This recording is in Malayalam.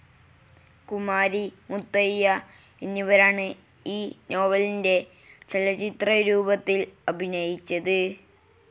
കുമാരി, മുത്തയ്യ എന്നിവരാണ് ഈ നോവലിന്റെ ചലച്ചിത്രരൂപത്തിൽ അഭിനയിച്ചത്.